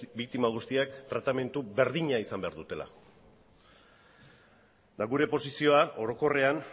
biktima guztiak tratamendu berdina izan behar dutela eta gure posizioa orokorrean